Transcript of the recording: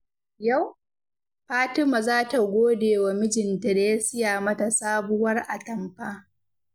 Yau, Fatima za ta gode wa mijinta da ya siya mata sabuwar atamfa.